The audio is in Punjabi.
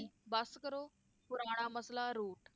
ਬੱਸ ਕਰੋ, ਪੁਰਾਣਾ ਮਸਲਾ ਰੂਟ